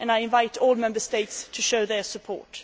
I invite all Member States to show their support.